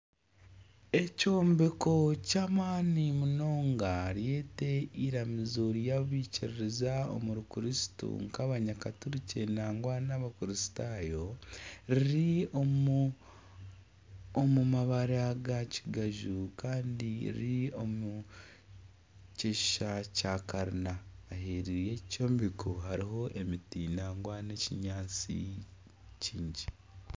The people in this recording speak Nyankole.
Ekyombeko ky'amaani munonga ryete eiramizo ry'abaikiririza omuri Kristo nk'abakaturiki nangwa n'abakristaayo riri omu mabara ga kigaju kandi riri omu kishusha kya Karina. Ririraine ekyombeko hariho emiti nangwa n'ekinyaatsi kingi.